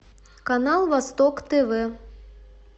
канал восток тв